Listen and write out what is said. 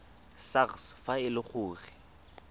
sars fa e le gore